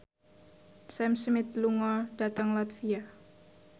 Sam Smith lunga dhateng latvia